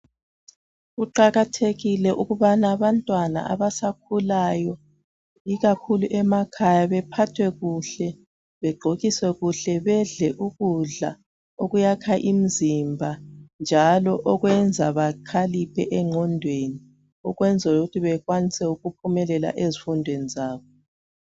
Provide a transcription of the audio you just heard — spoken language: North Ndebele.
kuqakathekile ukubana abantwana abasakhulayo ikakhulu emakhaya bephathwe kuhle begqokiswe kuhle bedle ukudla okuyakha imzimba njalo okwenza bakhaliphe engqondweni ukwenzela ukuthi bakwanise ukuphumelela ezifundweni zabo